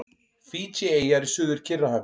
Fídjieyjar í Suður-Kyrrahafi.